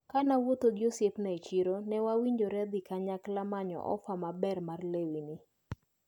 Kanaromo gi osiepna e chiro newawinjre dhi kanyakla manyo ofa maber mar lewni.